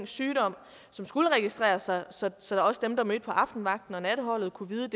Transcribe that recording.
sygdom som skulle registreres så så også dem der mødte på aftenvagten og natholdet kunne vide